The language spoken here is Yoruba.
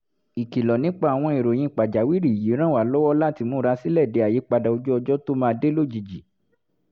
ìkìlọ̀ nípa àwọn ìròyìn pàjáwìrì yìí ràn wá lọ́wọ́ láti múra sílẹ̀ de àyípadà ojú ọjọ́ tó máa dé lójijì